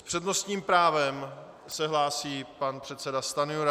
S přednostním právem se hlásí pan předseda Stanjura.